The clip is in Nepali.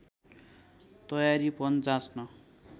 तयारीपन जाँच्न